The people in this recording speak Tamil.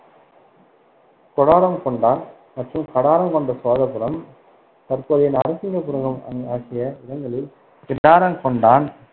கொடாரம்கொண்டான் மற்றும் கடாரம்கொண்ட சோழபுரம் தற்போதைய நரசிங்கபுரம் ஆகிய இடங்களில் கிடாரங்கொண்டான்